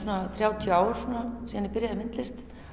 þrjátíu ár síðan ég byrjaði í myndlist